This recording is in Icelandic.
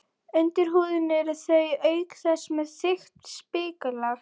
Undir húðinni eru þau auk þess með þykkt spiklag.